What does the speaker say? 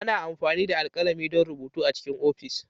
Ana amfani da alkalami don rubutu A cikin ofis.